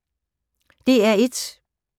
DR1